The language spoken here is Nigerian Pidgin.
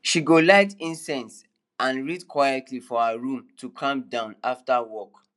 she go light incense and read quietly for her room to calm down after work